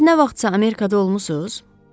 Siz nə vaxtsa Amerikada olmusunuz?